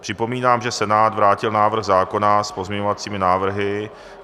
Připomínám, že Senát vrátil návrh zákona s pozměňovacími návrhy.